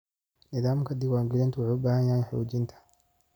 Nidaamka diiwaangelintu wuxuu u baahan yahay xoojinta.